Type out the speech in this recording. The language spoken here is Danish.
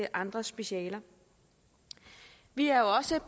andre specialer vi er også